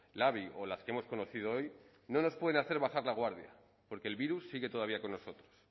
labi o las que hemos conocido hoy no nos pueden hacer bajar la guardia porque el virus sigue todavía con nosotros